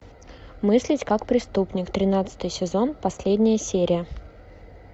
мыслить как преступник тринадцатый сезон последняя серия